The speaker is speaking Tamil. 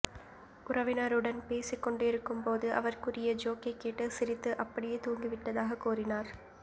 உறவினருடன் பேசிக்கொண்டிருக்கும்போது அவர் கூறிய ஜோக்கை கேட்டு சிரித்து அப்படியே தூங்கிவிட்டதாக கூறினார்